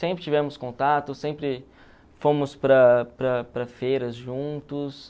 Sempre tivemos contato, sempre fomos para para para feiras juntos.